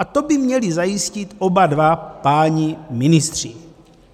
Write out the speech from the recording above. A to by měli zajistit oba dva páni ministři.